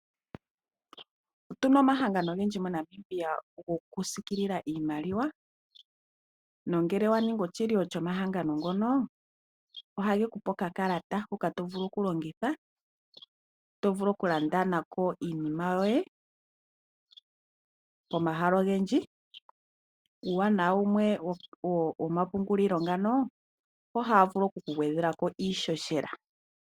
Otuna omahangano ogendji moNamibia gokusiikilila iimaliwa nongele wa ningi oshilyo shomahangano ngono ohage kupe okakalata hoka to vulu okulongitha to vulu okulanda nako iinima yoye pomahala ogendji. Uuwanawa wumwe womapungulilo ngano ohaya vulu okukugwedhela ko iihohela.